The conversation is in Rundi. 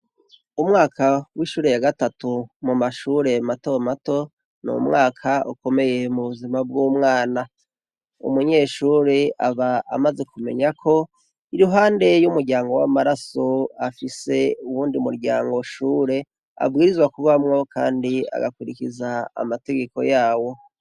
Umwaka wa gatatu mumashure matomato, n'umwaka ukomeye mubuzima bw'umwana. Umunyeshure aba amaze kumenya ko iruhande y'umuryango w'amaraso afise uwundi muryango w'ishure abwirizwa kubamwo Kandi agakurikiza amategeko yaho.